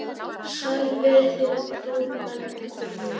Sæl verið þið, fróðu menn og konur!